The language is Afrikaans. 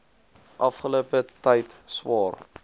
afgelope tyd swaar